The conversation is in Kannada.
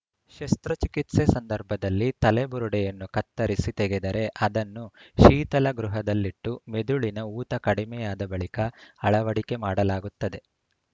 ಶಸ್ತ್ರಚಿಕಿತ್ಸೆ ಸಂದರ್ಭದಲ್ಲಿ ತಲೆಬುರುಡೆಯನ್ನು ಕತ್ತರಿಸಿ ತೆಗೆದರೆ ಅದನ್ನು ಶೀತಲಗೃಹದಲ್ಲಿಟ್ಟು ಮೆದುಳಿನ ಊತ ಕಡಿಮೆಯಾದ ಬಳಿಕ ಅಳವಡಿಕೆ ಮಾಡಲಾಗುತ್ತದೆ